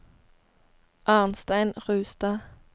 Arnstein Rustad